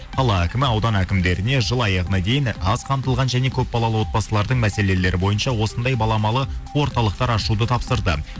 қала әкімі аудан әкімдеріне жыл аяғына дейін аз қамтылған және көпбалалы отбасылардың мәселелері бойынша осындай баламалы орталықтар ашуды тапсырды